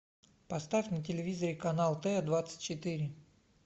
поставь на телевизоре канал т двадцать четыре